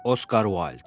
Oskar Uayld.